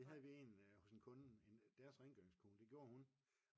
Det havde vi en hos en kunde deres rengøringskone det gjorde hun